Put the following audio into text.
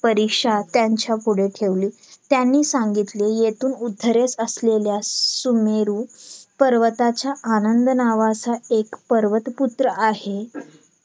परीक्षा त्यांच्या पुढे ठेवली त्यांनी सांगितले येथून उत्तरेस असलेल्या सुमेरू पर्वताच्या आनंद नावाचा एक पर्वत पुत्र आहे